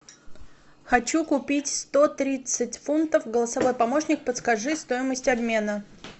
хочу купить сто тридцать фунтов голосовой помощник подскажи стоимость обмена